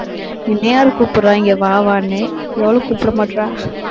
என்னை யாரு கூப்பிடறா, இங்க வா வான்னு. எவளும் கூப்பிட மாட்றா.